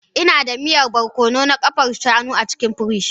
Ina da miya barkono na ƙafar shanu a cikin firij.